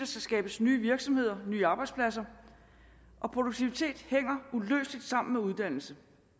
skabes nye virksomheder nye arbejdspladser og produktivitet hænger uløseligt sammen med uddannelse